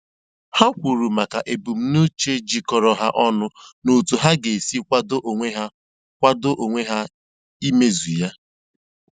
Ha kwuru maka ebumnuche jikọrọ ha ọnụ na otu ha ga-esi kwadoo onwe kwadoo onwe ha imezu ya.